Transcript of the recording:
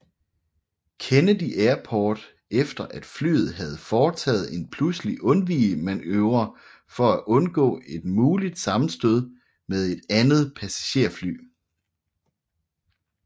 Kennedy Airport efter at flyet havde foretaget en pludselig undvigemanøvre for at undgå et muligt sammenstød med et andet passagerfly